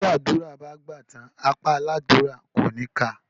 Tí àdúrà bá gbà tán, apá aládúrà ò ní ká a.